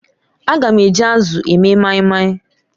Aga m eji azụ eme maimai.